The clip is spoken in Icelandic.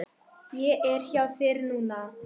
Ég er hjá þér núna.